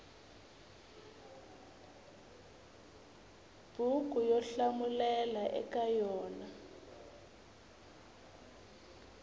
buku yo hlamulela eka yona